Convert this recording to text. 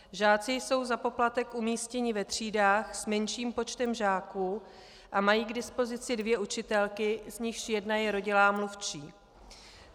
Žáci jsou za poplatek umístěni ve třídách s menším počtem žáků a mají k dispozici dvě učitelky, z nichž jedna je rodilá mluvčí.